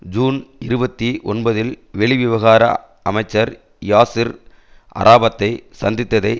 June இருபத்தி ஒன்பதில் வெளி விவகார அமைச்சர் யாசிர் அராபத்தை சந்தித்ததை